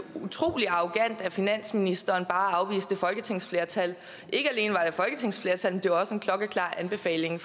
utrolig arrogant af finansministeren at afvise det folketingsflertal ikke alene var det et folketingsflertal men det var også en klokkeklar anbefaling